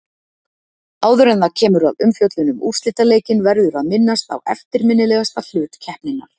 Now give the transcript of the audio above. Áður en það kemur að umfjöllun um úrslitaleikinn verður að minnast á eftirminnilegasta hlut keppninnar.